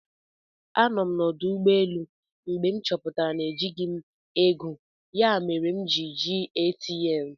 Anọ m na ọdụ ụgbọelụ mgbe m chọpụtara na ejighị m ego ya mere m ji jee ATM